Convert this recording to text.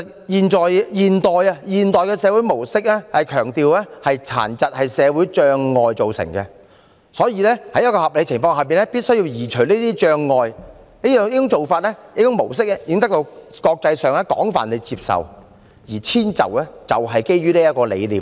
現代社會模式強調殘疾是社會障礙造成，所以在合理情況下必須移除障礙，這種模式已得到國際廣泛接受，而遷就是基於這個理念。